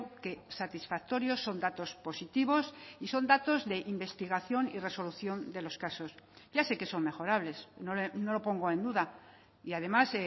que satisfactorios son datos positivos y son datos de investigación y resolución de los casos ya sé que son mejorables no lo pongo en duda y además